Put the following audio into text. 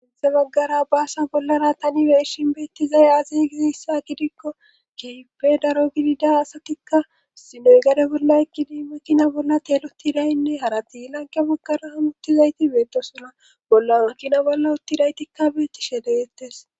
Issi baggara baasa bollara tani be'ishin beettizay azi gizissa gidikko kehippe daro gidida asatikka sinoy gade bolla yegidi makina bolla teeloti daynne harati lanke bakkara hamuttizayti beettosona bolla makina bolla uttidaytikka beettishshe de'ettes